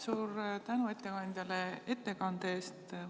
Suur tänu ettekandjale ettekande eest!